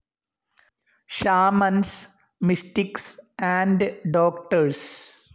shamans, mystics and doctors